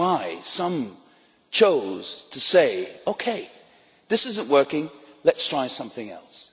That is why some chose to say, OK, this is not working, let us try something else'.